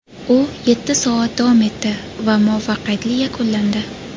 U yetti soat davom etdi va muvaffaqiyatli yakunlandi.